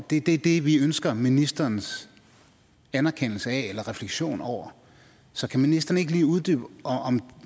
det er det vi ønsker ministerens anerkendelse af eller refleksion over så kan ministeren ikke lige uddybe